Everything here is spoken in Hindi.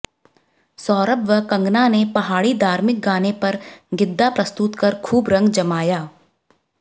सौरभ व कंगना ने पहाड़ी धार्मिक गाने पर गिद्दा प्रस्तुत कर खूब रंग जमाया